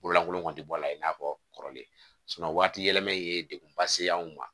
Bololankolon kun tɛ bɔ a la i n'a fɔ kɔrɔlen waati yɛlɛma ye degunba se anw ma